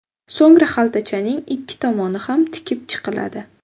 So‘ngra xaltachaning ikki tomoni ham tikib chiqiladi.